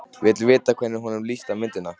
Vill vita hvernig honum lítist á myndina.